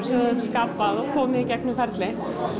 sem við höfum skapað og komið í gegnum ferlið